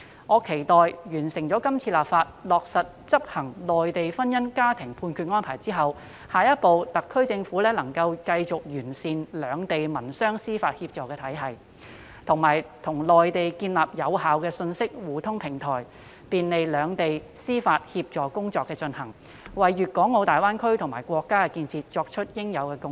我期望在完成今次立法、落實執行有關《安排》後，特區政府下一步能夠繼續完善兩地民商事司法協助體系，以及與內地建立有效的信息互通平台，便利兩地進行司法協助工作，為粤港澳大灣區和國家的建設作出應有的貢獻。